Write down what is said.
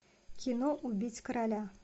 кино убить короля